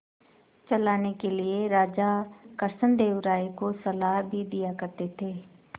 चलाने के लिए राजा कृष्णदेव राय को सलाह भी दिया करते थे